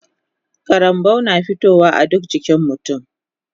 Karambau na fitowa a duka jikin mutun